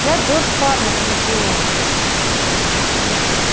я джордж парма с анакреона